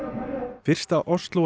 fyrsta